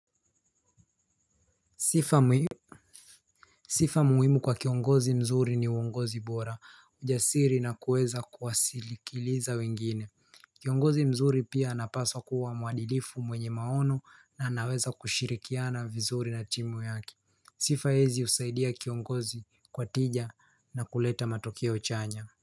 Sifa muhimu kwa kiongozi mzuri ni uongozi bora ujasiri na kuweza kuwasilikiliza wengine. Kiongozi mzuri pia anapaswa kuwa muadilifu mwenye maono na anaweza kushirikiana vizuri na timu yaki. Sifa hizi husaidia kiongozi kwa tija na kuleta matokeo chanya.